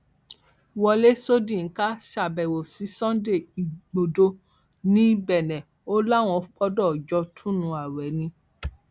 wọlé söldinka ṣàbẹwò sí sunday igbodò ní bene o láwọn gbọdọ jọ túnú ààwẹ ni